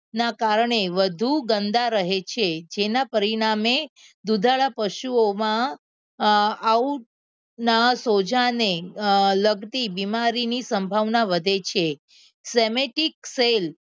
ના કારણે વધુ ગંદા રહે છે જેના પરિણામે દુધાળા પશુઓમા આવુ સોજા ને લગતી બીમારીની સંભાવના વધે છે semantic fail